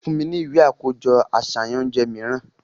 Fun mi ni iwe akojọ aṣayan ounjẹ miiran!